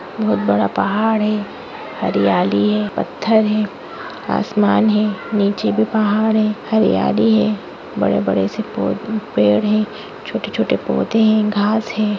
बहुत बड़ा पहाड़ है हरियाली है पत्थर है आसमान नीचे भी पहाड़ है हरीयाली है बड़े बड़े से पोध पेड़ है छोटे छोटे पौंधे है घास है।